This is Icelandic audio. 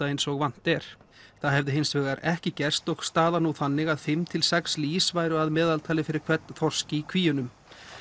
eins og vant er það hefði hins vegar ekki gerst og staðan nú þannig að fimm til sex lýs væru að meðaltali fyrir hvern þorsk í kvíunum